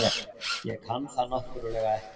Ég kann það náttúrlega ekki.